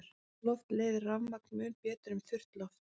Rakt loft leiðir rafmagn mun betur en þurrt loft.